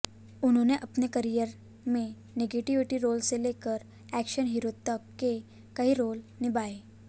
उन्होंने अपने करियर में नेगेटिव रोल से लेकर एक्शन हीरो तक के कई रोल निभाए